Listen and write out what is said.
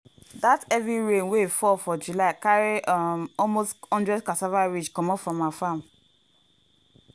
dat heavy rain wey fall for july carry um almost one hundred cassava ridge comot from her farm.